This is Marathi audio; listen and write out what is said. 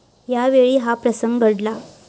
यावेळी हा प्रसंग घडला.